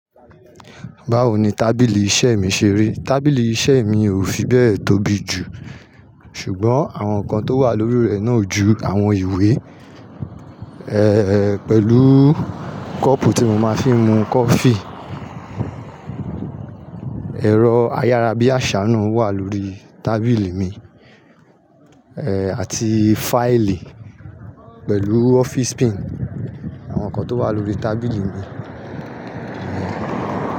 Báwo ni tábìlì iṣẹ́ mi ṣe rí? Tábìlì iṣẹ́ mi ò fi bẹ tóbi jù, ṣùgbọ́n àwọn nǹkan tó wà lórí rẹ̀ náà ju àwọn ìwé, pẹ̀lú kọ́ọ́pù tí mo máa fi ń mu kọfí. Ẹ̀rọ ayára bí àsá náà wà lórí tábìlì mi àti fáìlì pẹ̀lú ọ́fíìsì pin. Àwọn nǹkan tó wà lórí tábìlì mi.